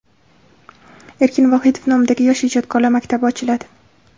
Erkin Vohidov nomidagi yosh ijodkorlar maktabi ochiladi.